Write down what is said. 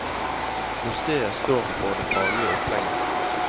Museet står for det faglige opplegget.